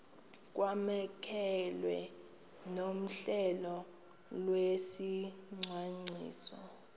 kwamkelwe nohlelo lwesicwangciso